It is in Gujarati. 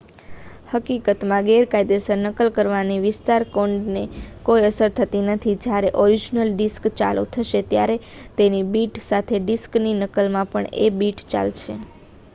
હકીકતમાં ગેરકાયદેસર નકલ કરવાની વિસ્તાર કોડને કોઈ અસર થતી નથી જયારે ઓરિજનલ ડિસ્ક ચાલુ થશે ત્યારે તેની બિટ સાથે ડિસ્કની નકલમાં પણ એ બિટ ચાલશે